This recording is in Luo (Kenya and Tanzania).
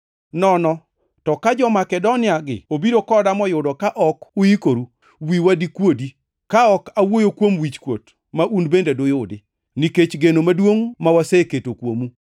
Nono to, ka jo-Makedoniagi obiro koda moyudo ka ok uikoru, wiwa dikuodi, ka ok awuoyo kuom wichkuot ma un bende duyudi, nikech geno maduongʼ ma waseketo kuomu.